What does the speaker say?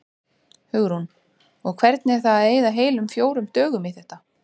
Hugrún: Og hvernig er það að eyða heilum fjórum dögum í þetta?